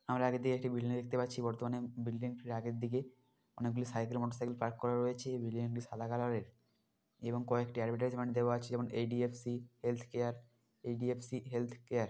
আমরা আগে দিয়ে একটি বিল্ডিং দেখতে পাচ্ছি বর্তমানে বিল্ডিং আগের দিকে অনেক গুলি সাইকেল মোটর সাইকেল পার্ক করা রয়েছে বিল্ডিং - টি সাদা কালার -এর এবং কয়েকটি এডভারটিসিমেন্ট দেওয়া আছে যেমন এইচ.ডি.এফ.সি হেলথ কেয়ার ই.ডি.এ ফ.সি হেল্‌থ কেয়ার ।